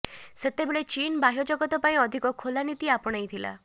ସେତେବେଳେ ଚୀନ୍ ବାହ୍ୟ ଜଗତ ପାଇଁ ଅଧିକ ଖୋଲା ନୀତି ଆପଣେଇଥିଲା